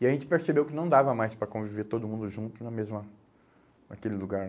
E a gente percebeu que não dava mais para conviver todo mundo junto na mesma, naquele lugar.